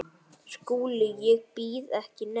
SKÚLI: Ég býð ekki neitt.